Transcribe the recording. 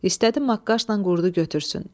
İstədi maqqaşla qurdu götürsün.